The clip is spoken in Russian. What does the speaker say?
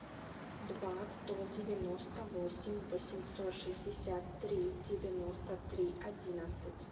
два сто девяносто восемь восемьсот шестьдесят три девяносто три одиннадцать